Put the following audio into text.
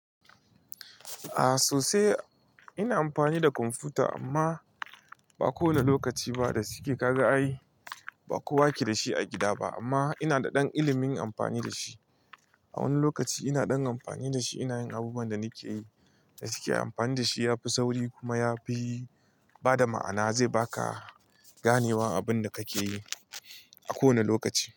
A'a sosai ina amfani da kwamfuta amma ba kowane lokaci ba da suke ka ga a yi, ba kowa ke da shi a gida ba amma ina da ɗan ilimin amfani da shi. A wani lokaci ina ɗan amfani da shi ina yin abubuwan da nake yi da shike amfani da shi yafi sauri kuma yafi bada ma'ana zai baka ganewa abun da kake yi a kowane lokaci.